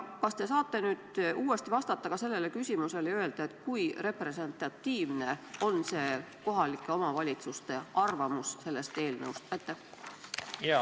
Kas te saate uuesti vastata ka sellele küsimusele ja öelda, kui representatiivne on kohalike omavalitsuste arvamus selle eelnõu kohta?